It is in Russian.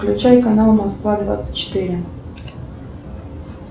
включай канал москва двадцать четыре